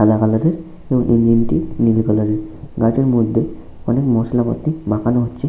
সাদা কালার এর এবং ইঞ্জিন টি নীল কালার এর। গাড়িটির মধ্যে অনেক মশলা পাতি মাখানো হচ্ছে।